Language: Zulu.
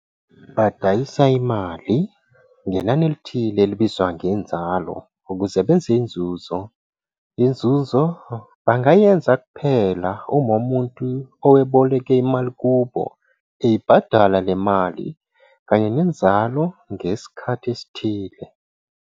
'Badayisa' imali ngenani elithile, elibizwa ngenzalo, ukuze benze inzuzo. Inzuzo bengayenza kuphela uma umuntu oweboleke imali kubo, eyibhadala le mali kanye nenzalo ngesikhathi esithile.